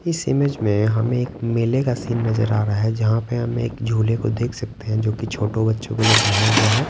इस इमेज में हमें एक मेले का सीन नजर आ रहा है जहां पे हम एक झूले को देख सकते हैं जो कि छोटे बच्चों के लिए बनाया गया है।